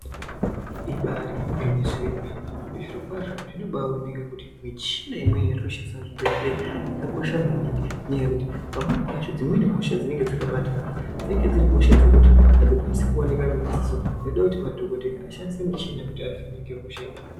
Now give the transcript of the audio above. Ibari gwinyiso yemene zviro kwazvo zvinobaoneke kuti michina imweni inoshandiswa muzvibhedhleya yakakosha maningi. Nenyaya yekuti pamweni pacho dzimweni hosha dzinenge dzakabata dzinenge dziri hosha dzekuti hadzikwanisi kuoneka ngemadziso. Zvoda kuti madhogodheya ashandise michina kuti avheneke hosha idzona idzo.